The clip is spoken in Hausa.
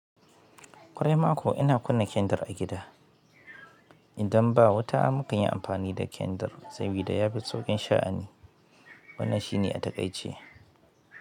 Ƙwarai ma ko ina kunna kyandir a gida. Idan ba wuta mukanyi amfani da kyandir, sabida ya fi sauƙin sha'ani. Wannan shine a takaice.